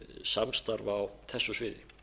samstarf á þessu sviði